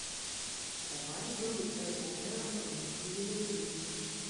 давай игру апл эвертон и ливерпуль